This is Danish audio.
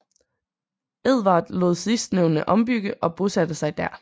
Edvard lod sidstnævnte ombygge og bosatte sig der